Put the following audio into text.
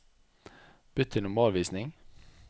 Bytt til normalvisning